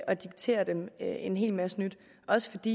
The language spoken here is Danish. og diktere dem en hel masse nyt også fordi